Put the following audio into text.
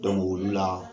olu la